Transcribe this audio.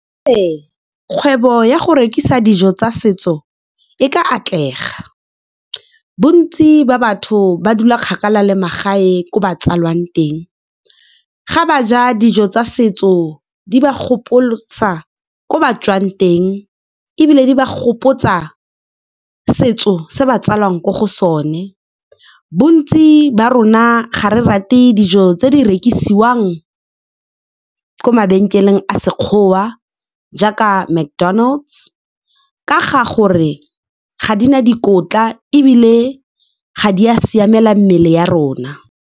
Ee, kgwebo ya go rekisa dijo tsa setso e ka atlega. Bontsi ba batho ba dula kgakala le magae ko ba tsalwang teng, ga ba ja dijo tsa setso di ba gopotsa kwa ba tswang teng, ebile di ba gopotsa setso se ba tsalwang ko go sone. Bontsi ba rona ga re rate dijo tse di rekisiwang ko mabenkeleng a Sekgowa jaaka McDonald's ka ga gore ga di na dikotla, ebile ga di a siamela mmele ya rona.